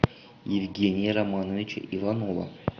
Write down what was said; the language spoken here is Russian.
евгения романовича иванова